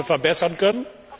verbessern können?